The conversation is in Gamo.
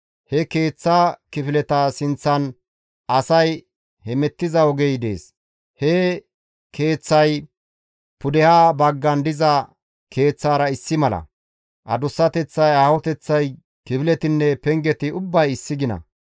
He keeththa kifileta sinththan asay hemettiza ogey dees. He keeththay pudeha baggan diza keeththara issi mala; adussateththay, aahoteththay, kifiletinne pengeti ubbay issi gina.